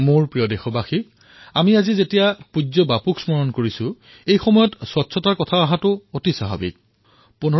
মোৰ মৰমৰ দেশবাসীসকল আজি যেতিয়া আমি পূজ্য বাপুৰ স্মৰণ কৰি আছোঁ এয়া স্বাভাৱিক যে স্বচ্ছতাৰ কথা আমি নোকোৱাকৈ থাকিব নোৱাৰোঁ